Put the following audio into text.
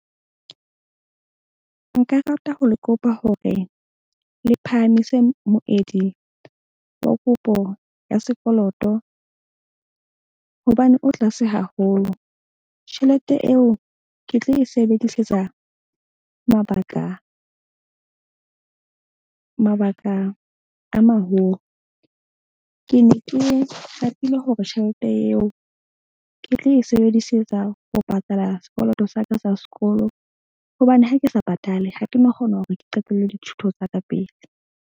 Nka rata ho le kopa hore le phahamise moedi wa kopo ya sekoloto. Hobane o tlase haholo tjhelete eo ke tlo e sebedisetsa mabaka a maholo. Ke ne ke ratile hore tjhelete eo ke tlo e sebedisetsa ho patala sekoloto sa ka sa sekolo. Hobane ha ke sa patale, ha ke no kgona hore ke qetelle dithuto tsa ka pele.